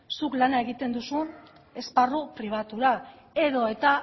zuk lana egiten duzu esparru pribatura edo eta